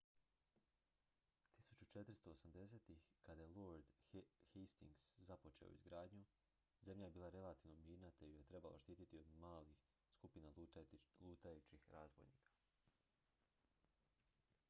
1480-ih kada je lord hastings započeo izgradnju zemlja je bila relativno mirna te ju je trebalo štititi samo od malih skupina lutajućih razbojnika